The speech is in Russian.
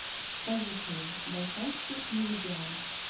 поехали байкальский меридиан